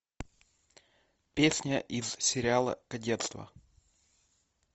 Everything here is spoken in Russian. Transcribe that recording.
песня из сериала кадетство